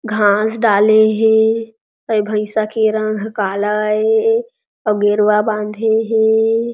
घास डाले हे ये भइसा के रंग ह काला ए अऊ गेरुवा बांधे हे।